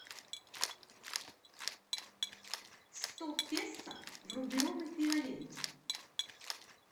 сто песо в рублевом эквиваленте